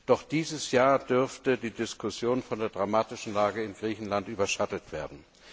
Doch dieses Jahr dürfte die Diskussion von der dramatischen Lage in Griechenland überschattet werden.